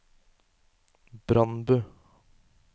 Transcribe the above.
Brandbu